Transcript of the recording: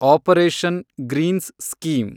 operation greens scheme